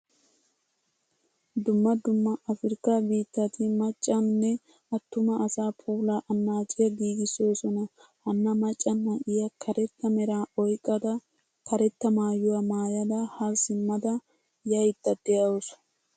Dumma dumma afrikka biittatti maccanne attuma asaa puulaa annaciyaa giigisosona. Hana macca na'iyaa karetta mera oyqqada karetta maayuwaa maayada ha simmada yaydda deawusu.